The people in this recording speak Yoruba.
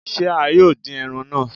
Se a yóò dín ẹran náà?